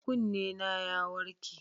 Kunnena ya warke.